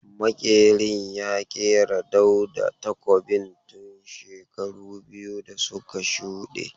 Makerin ya kera Dauda takobin tun shekaru biyu da suka shude.